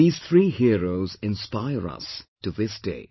These three heroes inspire us to this day